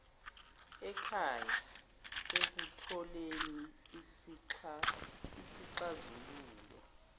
ekhaya ekutholeni izixazululo